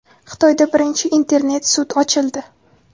Xitoyda birinchi internet-sud ochildi.